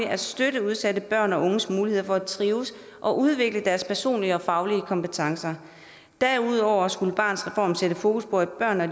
at støtte udsatte børn og unges mulighed for at trives og udvikle deres personlige og faglige kompetencer derudover skulle barnets reform sætte fokus på at børn og